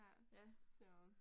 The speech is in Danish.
Ja, så